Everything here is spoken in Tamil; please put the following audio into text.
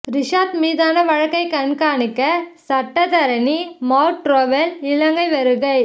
ரிஷாத் மீதான வழக்கை கண்காணிக்க சட்டத்தரணி மார்க் ட்ரொவெல் இலங்கை வருகை